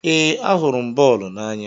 Ee, ahụrụ m bọọlụ n'anya.